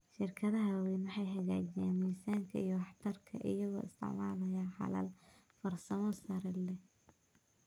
Shirkadaha waaweyni waxay hagaajiyaan miisaanka iyo waxtarka iyagoo isticmaalaya xalal farsamo sare leh.